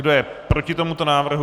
Kdo je proti tomuto návrhu?